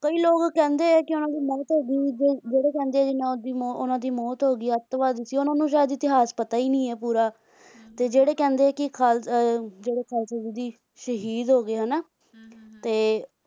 ਕਈ ਲੋਗ ਕਹਿੰਦੇ ਹੈ ਕਿ ਉਹਨਾਂ ਦੀ ਮੌਤ ਹੋ ਗਈ ਜਿਹੜੇ ਕਹਿੰਦੇ ਹੈਂ ਉਨ੍ਹਾਂ ਦੀ ਮੌਤ ਹੋ ਗਈ ਅੱਤਵਾਦੀ ਸੀ ਉਨ੍ਹਾਂ ਨੂੰ ਸ਼ਾਇਦ ਇਤੀਹਾਸ ਪਤਾ ਹੀ ਨਹੀਂ ਪੂਰਾ ਹਮ ਹਮ ਤੇ ਜਿਹੜੇ ਕਹਿੰਦੇ ਹੈ ਖਾਲਸਾ ਅਹ ਜਿਹੜੇ ਖਾਲਸਾ ਜੀ ਸ਼ਹੀਦ ਹੋ ਗਏ ਹੈ ਨਾ ਹਮ ਹਮ ਹਮ ਤੇ